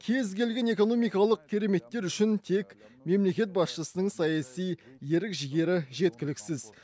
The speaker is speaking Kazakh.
кез келген экономикалық кереметтер үшін тек мемлекет басшысының саяси ерік жігері жеткіліксіз